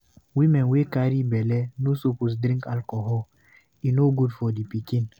Women wey carry belle no suppose drink alcohol, e no good for di pikin.